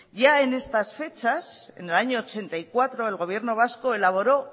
ya en estas fechas en el año mil novecientos ochenta y cuatro el gobierno vasco elaboró